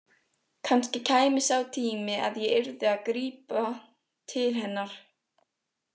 Kannski kæmi sá tími að ég yrði að grípa til hennar.